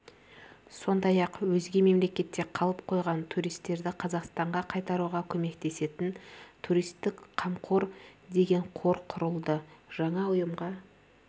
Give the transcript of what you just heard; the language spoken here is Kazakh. сондай-ақ өзге мемлекетте қалып қойған туристерді қазақстанға қайтаруға көмектесетін туристик қамқор деген қор құрылды жаңа ұйымға